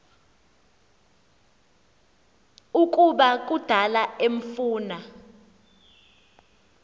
ukuba kudala emfuna